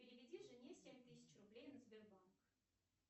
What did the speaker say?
переведи жене семь тысяч рублей на сбербанк